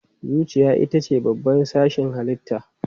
Zuciya ita ce babban sashin halitta.